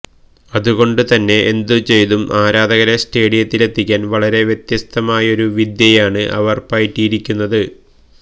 അതുകൊണ്ട് തന്നെ എന്ത് ചെയ്തും ആരാധകരെ സ്റ്റേഡിയത്തിലെത്തിക്കാന് വളരെ വ്യത്യസ്തമായൊരു വിദ്യയാണ് അവര് പയറ്റിയിരിക്കുന്നത്